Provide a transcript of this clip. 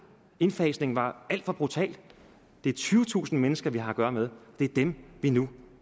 indfasningen var alt for brutal det er tyvetusind mennesker vi har at gøre med og det er dem vi nu